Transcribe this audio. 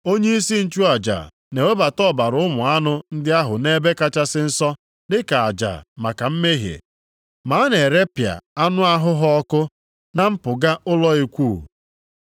Onyeisi nchụaja na-ewebata ọbara ụmụ anụ ndị ahụ nʼEbe Kachasị Nsọ dịka aja maka mmehie, ma a na-erepịa anụ ahụ ha ọkụ na mpụga ụlọ ikwu.